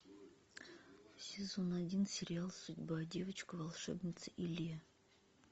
сезон один сериал судьба девочка волшебница илия